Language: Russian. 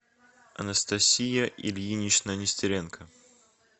анастасия ильинична нестеренко